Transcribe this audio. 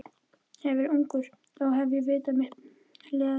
Hefði ég verið ungur, þá hefði ég veitt mitt liðsinni.